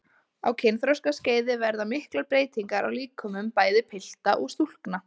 Á kynþroskaskeiði verða miklar breytingar á líkömum bæði pilta og stúlkna.